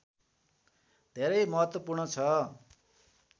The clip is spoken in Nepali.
धेरै महत्त्वपूर्ण छ